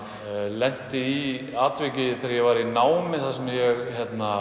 lenti í atviki þegar ég var í námi þegar ég